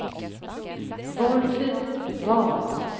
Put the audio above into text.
Valfrid Wall